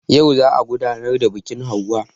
Yau za a gudanar da biƙin hauwa